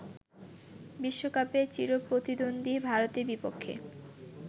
বিশ্বকাপে চিরপ্রতিদ্বন্দ্বী ভারতের বিপক্ষে